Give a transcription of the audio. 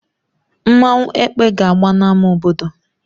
Nmanwu "Ekpe" ga-agba na ama obodo.